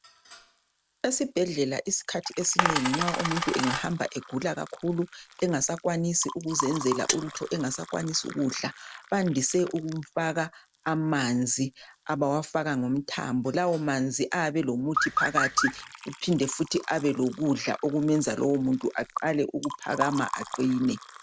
Esibhedlela iskhathi esinengi umuntu nxa engahamba egula kakhulu engasakwanisi ukuzenzela ukuthi engasakwanisi kudla bandise ukumfaka amanzi abawafaka ngomthambo , lawo manzi ayabe elomuthi phakathi kuphinde futhi ube lokudla okumenza lowo muntu aqale ukuphakama aqine